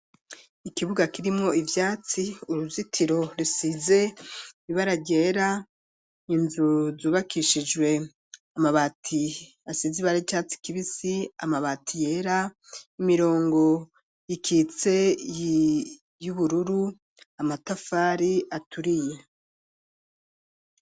Ikibuga, kirimwo ivyatsi, uruzitiro rusize ibara ryera, inzu zubakishijwe amabati, asize ibara ry'icatsi kibisi, amabati yera; imirongo ikitse, y'ubururu; amatafari aturiye.